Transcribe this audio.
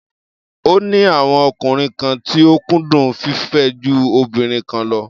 Ó ní àwọn ọkùnrin kan tí ó kúndùn fífẹ́ ju obìnrin kan lọ.